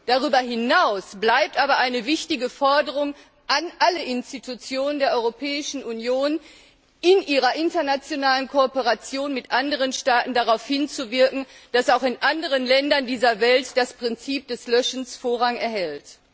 Darüber hinaus bleibt aber eine wichtige Forderung an alle Institutionen der Europäischen Union, in ihrer internationalen Kooperation mit anderen Staaten darauf hinzuwirken, dass auch in anderen Ländern dieser Welt das Prinzip des Löschens Vorrang erhält.